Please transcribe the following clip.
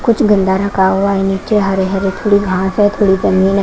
कुछ गंदा रखा हुआ है नीचे हरे हरे थोड़ी घास है थोड़ी जमीन है।